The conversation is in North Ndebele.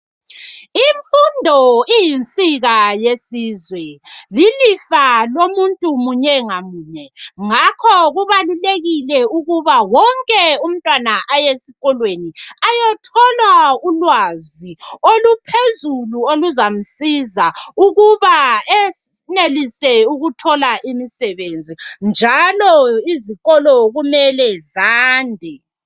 Imfundo iyinsika yesizwe lilifa lomuntu munye ngamunye ngakho kubalulekile ukuba wonke umtwana aye esikolweni ayethola ulwazi oluphezulu oluzamsiza ukuba enelise ukuthola imimsebenzi njalo izikolo kumele zande